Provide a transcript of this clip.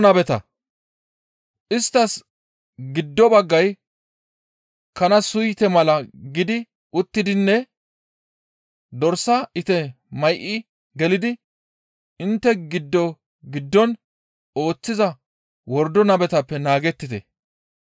«Isttas giddo baggay Kana suyte mala gidi uttidinne dorsa ite may7i gelidi intte giddo giddon ooththiza wordo nabetappe naagettite. Dorsatanne kana suyteta